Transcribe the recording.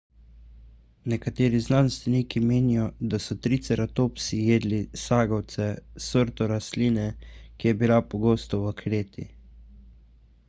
nekateri znanstveniki menijo da so triceratopsi jedli sagovce sorto rastline ki je bila pogosta v kreti